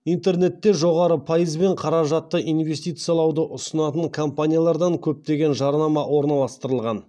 интернетте жоғары пайызбен қаражатты инвестициялауды ұсынатын компаниялардан көптеген жарнама орналастырылған